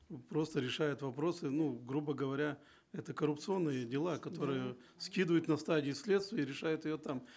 просто решают вопросы ну грубо говоря это коррупционные дела которые скидывают на стадии следствия и решают ее там